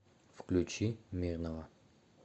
включи мирного